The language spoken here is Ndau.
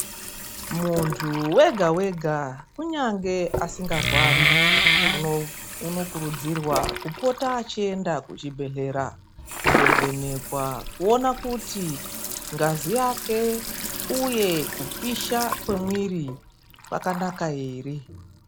Muntu wega wega kunyange asingarwari unokurudzirwa kupota achienda kuchibhehlera kundovhenekwa, kuona kuti ngazi yake uye kupisha kwemwiri kwakanaka ere.